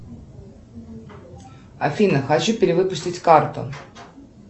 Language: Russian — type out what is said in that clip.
афина хочу перевыпустить карту